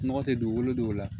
Nɔgɔ tɛ dugukolo dɔw la